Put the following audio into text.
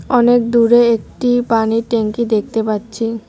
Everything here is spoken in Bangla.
অনেক দূরে একটি পানির ট্যাঙ্কি দেখতে পাচ্ছি।